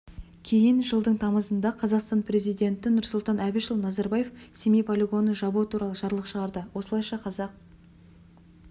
кейін жылдың тамызында қазақстан президенті нұрсұлтан әбішұлы назарбаев семей полигонын жабу туралы жарлық шығарды осылайша қазақ